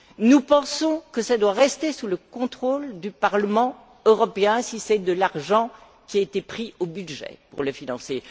Nous pensons que tout cela doit rester sous le contrôle du Parlement européen, si de l'argent a été prélevé au budget pour le financer.